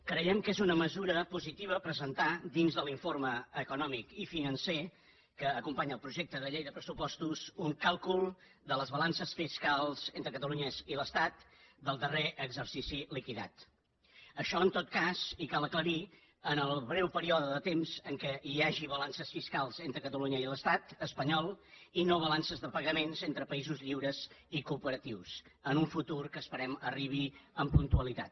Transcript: creiem que és una mesura positiva presentar dins de l’informe econòmic i financer que acompanya el projecte de llei de pressupostos un càlcul de les balances fiscals entre catalunya i l’estat del darrer exercici liquidat això en tot cas i cal aclarir ho en el breu període de temps en què hi hagi balances fiscals entre catalunya i l’estat espanyol i no balances de pagaments entre països lliures i cooperatius en un futur que esperem que arribi amb puntualitat